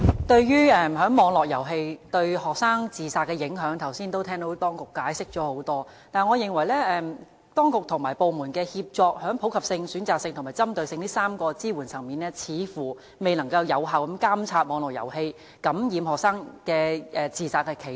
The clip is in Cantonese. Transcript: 對於網絡遊戲對學生自殺的影響，剛才已聽到當局作出很多解釋，但我認為當局和部門的協作，在普及性、選擇性和針對性這3個支援層面，似乎未能有效監察網絡遊戲感染學生，令他們產生自殺的企圖。